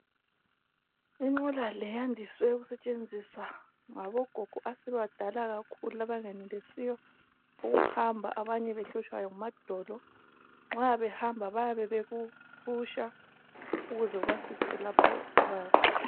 Inqola le yandise ukusetshenziswa ngogogo asebebadala kakhulu abangenelisi ukuhamba abanye behlatshwa ngamadolo. Nxa behamba bayabe beyifuqa ukuze ibafikise lapho abayakhona